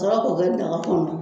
Wɔrɔ k'o kɛ daga kɔnɔ